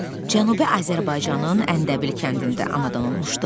Mirzəcəlal Cənubi Azərbaycanın Əndəbil kəndində anadan olmuşdu.